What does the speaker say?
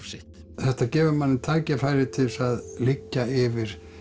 sitt þetta gefur manni tækifæri til þess að liggja yfir